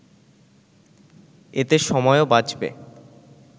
এতে সময়ও বাঁচবে